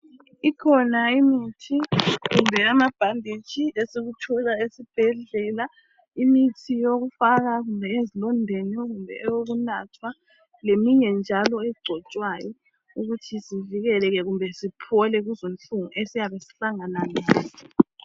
Ikhona imithi kumbe amabhanditshi esikuthola esibhedlela. Imithi yokufaka kumbe ezilondeni kumbe eyokunathwa, leminye njalo egcotshwayo ukuthi sivikeleke kumbe siphole kuzinhlungu esiyabe sihlangana lazo.